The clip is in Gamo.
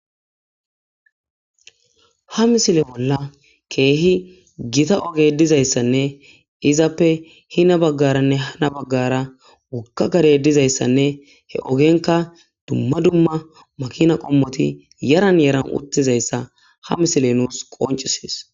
Ha misile bolla keehi gita oge dizayssanne izappe hina baggaranne hina baggara wokka gare dizayssanne he ogenka dumma dumma makina qommoti yaran yaran uttizayssa ha misile nuus qoncisees.